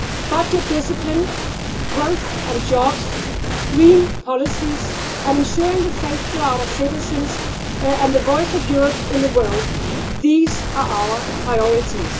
Budget discipline, growth and jobs, green policies, and ensuring the safety of our citizens and the voice of Europe in the world these are our priorities.